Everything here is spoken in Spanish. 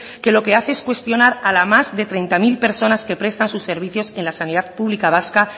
que lo que hace es cuestionar a las más de treinta mil personas que prestan sus servicios en la sanidad pública vasca